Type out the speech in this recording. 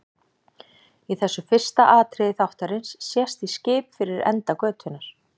Í þessu fyrsta atriði þáttarins sést í skip fyrir enda götunnar.